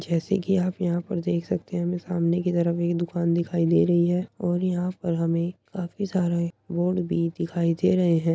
जैसे कि आप पर यहाँ देख सकते हैं हमे सामने कि तरफ एक दुकान दिखाई दे रही है और यहाँ पर हमें काफी सारे बोर्ड भी दिखाई दे रहे हैं।